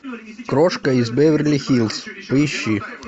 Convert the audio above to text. крошка из беверли хиллз поищи